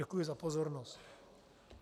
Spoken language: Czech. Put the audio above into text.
Děkuji za pozornost.